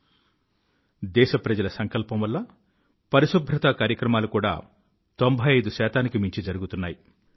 అభ్యంతరహితమైన దేశప్రజల సంకల్పం వల్ల పరిశుభ్రతా కార్యక్రమాలు కూడా తొంభై ఇదు శాతానికి మించి జరుగుతున్నాయి